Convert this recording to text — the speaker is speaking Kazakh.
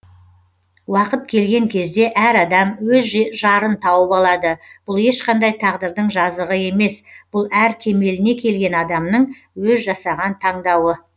уақыт келген кезде әр адам өз жарын тауып алады бұл ешқандай тағдырдың жазығы емес бұл әр кемеліне келген адамның өз жасаған таңдауы